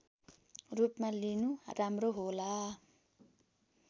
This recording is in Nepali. रूपमा लिनु राम्रो होला